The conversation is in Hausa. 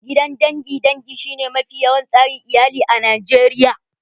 Gidan dangin dangi shi ne mafi yawan tsari iyali a Najeriya